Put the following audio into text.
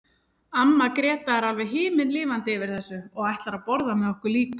Amma Gréta er alveg himinlifandi yfir þessu og ætlar að borða með okkur líka.